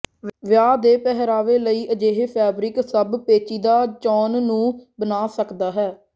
ਵਿਆਹ ਦੇ ਪਹਿਰਾਵੇ ਲਈ ਅਜਿਹੇ ਫੈਬਰਿਕ ਸਭ ਪੇਚੀਦਾ ਚੋਣ ਨੂੰ ਬਣਾ ਸਕਦਾ ਹੈ